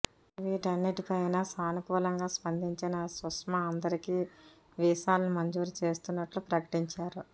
వీటన్నింటిపైనా సానుకూలంగా స్పందించిన సుష్మా అందరికీ వీసాలను మంజూరు చేస్తున్నట్లు ప్రకటించారు